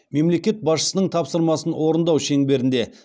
мемлекет басшысының тапсырмасын орындау шеңберінде